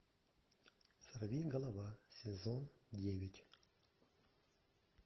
сорвиголова сезон девять